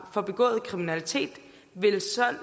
for begået kriminalitet vil